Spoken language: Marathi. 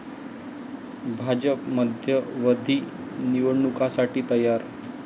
भाजप मध्यावधी निवडणुकांसाठी तयार'